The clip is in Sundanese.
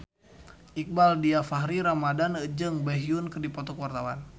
Iqbaal Dhiafakhri Ramadhan jeung Baekhyun keur dipoto ku wartawan